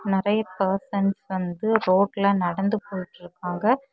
நறைய பர்சன்ஸ் வந்து ரோட்ல நடந்து போயிட்ருக்காங்க.